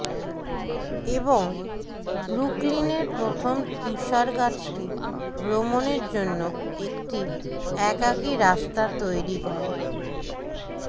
এবং ব্রুকলিনের প্রথম তুষারগাছটি ভ্রমণের জন্য একটি একাকী রাস্তা তৈরি করে